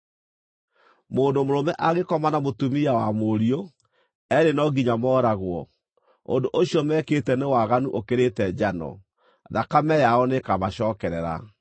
“ ‘Mũndũ mũrũme angĩkoma na mũtumia wa mũriũ, eerĩ no nginya mooragwo. Ũndũ ũcio mekĩte nĩ waganu ũkĩrĩte njano; thakame yao nĩĩkamacookerera.